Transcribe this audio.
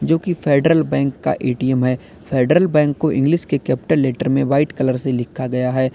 जो की Federal Bank का ए_टी_एम है फेडरल बैंक को इंग्लिश के कैपिटल लेटर में व्हाइट कलर से लिखा गया है।